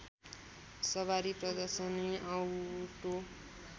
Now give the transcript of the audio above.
सबारी प्रदर्शनी औटो